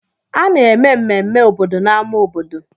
A na-eme mmemme obodo n'ámá obodo.